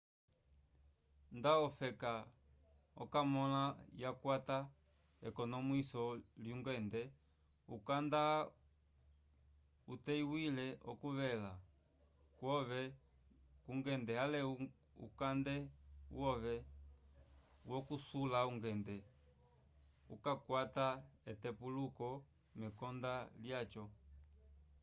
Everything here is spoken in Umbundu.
nda ofeka oka mõla yakwata ekonomwiso lyungende ukanda uteywila okuvela kwove kungende ale ukande wove wokusula ungende ukakwata etepuluko mekonda lyaco